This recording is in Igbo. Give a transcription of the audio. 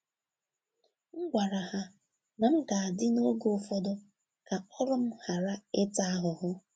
M gwara ha na m ga-adị n’oge ụfọdụ ka ọrụ m ghara ịta ahụhụ.